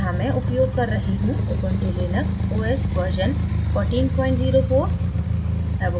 यहाँ मैं उपयोग कर रही हूँ ubuntu linux os version 1404